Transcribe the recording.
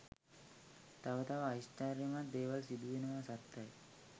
තව තව ආශ්චර්යමත් දේවල් සිදුවෙනවා සත්තයි.